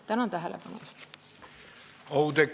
Tänan tähelepanu eest!